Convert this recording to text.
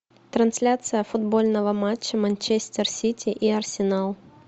трансляция футбольного матча манчестер сити и арсенал